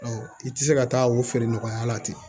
i tɛ se ka taa o feere nɔgɔya la ten